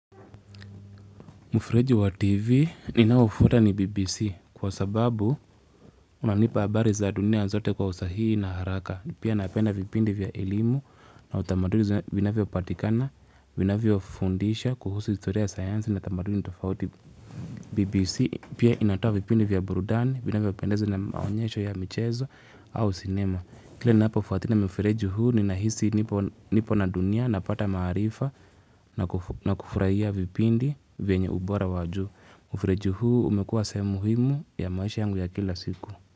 Mufreji wa TV ninaufota ni BBC kwa sababu unanipa abari za dunia zote kwa usahihii na haraka. Pia napenda vipindi vya elimu na utamaduni vinavyopatikana, vinavyofundisha kuhusu historia sayansi na tamaduni tofauti BBC. Pia inatoa vipindi vya burudani, vinavyopendeza na maonyesho ya michezo au sinema. Kile napofuatina mfereju huu ni nahisi nipo na dunia na pata maarifa na kufraia vipindi venye ubora waju. Mfereju huu umekua semuhimu ya maisha yangu ya kila siku.